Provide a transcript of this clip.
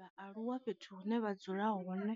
Vha aluwa fhethu hune vha dzula hone